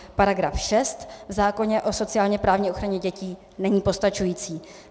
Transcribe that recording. Paragraf 6 v zákoně o sociálně-právní ochraně dětí není postačující.